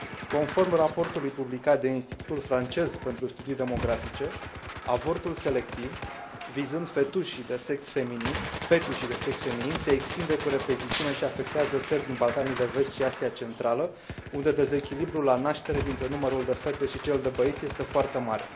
Conform raportului publicat de Institutul Francez pentru Studii Demografice, avortul selectiv vizând fetușii de sex feminin se extinde cu repeziciune și afectează țări din Balcanii de Vest și Asia Centrală, unde dezechilibrul la naștere dintre numărul de fete și cel de băieți este foarte mare.